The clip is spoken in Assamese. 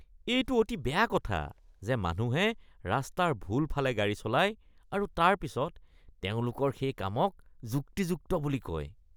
এইটো অতি বেয়া কথা যে মানুহে ৰাস্তাৰ ভুল ফালে গাড়ী চলায় আৰু তাৰ পিছত তেওঁলোকৰ সেই কামক যুক্তিযুক্ত বুলি কয়।